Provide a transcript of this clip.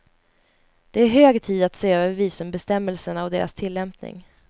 Det är hög tid att se över visumbestämmelserna och deras tillämpning.